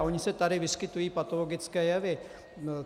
a ony se tady vyskytují patologické jevy.